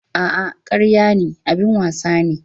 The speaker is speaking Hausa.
A'a, karya ne, abin wasa nawa ne.